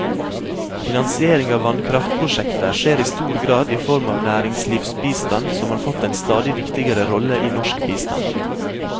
Finansiering av vannkraftprosjekter skjer i stor grad i form av næringslivsbistand, som har fått en stadig viktigere rolle i norsk bistand.